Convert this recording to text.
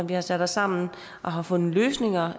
vi har sat os sammen og har fundet løsninger